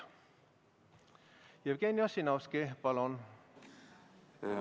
Jevgeni Ossinovski, palun!